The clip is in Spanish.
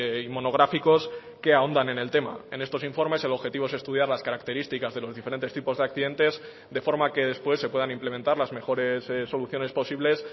y monográficos que ahondan en el tema en estos informes el objetivo es estudiar las características de los diferentes tipos de accidentes de forma que después se puedan implementar las mejores soluciones posibles